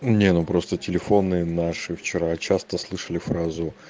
не ну просто телефонные наши вчера часто слышали фразу